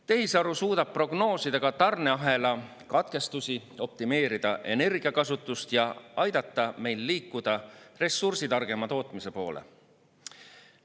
Tehisaru suudab prognoosida ka tarneahela katkestusi, optimeerida energiakasutust ja aidata meil liikuda ressursitargema tootmise poole.